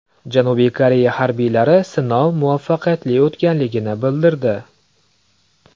Janubiy Koreya harbiylari sinov muvaffaqiyatli o‘tganligini bildirdi.